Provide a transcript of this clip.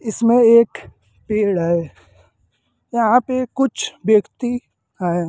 इसमें एक पेड़ है यहां पे कुछ व्यक्ति हैं।